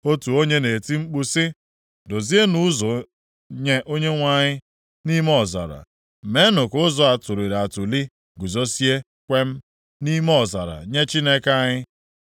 Otu onye na-eti mkpu sị, “Dozienụ ụzọ nye Onyenwe anyị nʼime ọzara, meenụ ka ụzọ atụliri atụli guzozie kwem nʼime ọzara nye Chineke anyị.